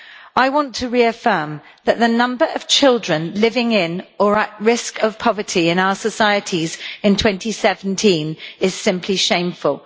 I want to reaffirm that the number of children living in, or at risk of, poverty in our societies in 2017 is simply shameful.